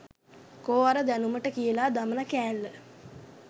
කෝ අර දැනුමට කියලා දමන කෑල්ල